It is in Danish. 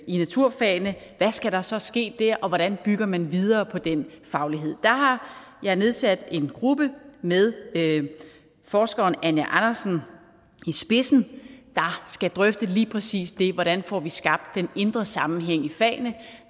i naturfagene hvad skal der så ske der og hvordan bygger man videre på den faglighed der har jeg nedsat en gruppe med forskeren anja andersen i spidsen der skal drøfte lige præcis det altså hvordan får vi skabt den indre sammenhæng i fagene